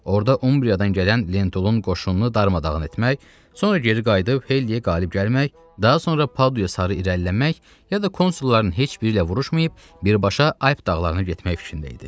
Orda Umbriadan gələn Lentulun qoşununu darmadağın etmək, sonra geri qayıdıb Heliyə qalib gəlmək, daha sonra Pa sarı irəliləmək, ya da konsulların heç biri ilə vuruşmayıb birbaşa Ayb dağlarına getmək fikrində idi.